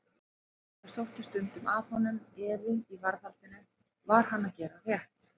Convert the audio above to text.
Það sótti stundum að honum efi í varðhaldinu: var hann að gera rétt?